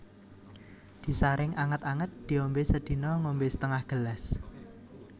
Disaring anget anget diombe sedina ngombe setengah gelas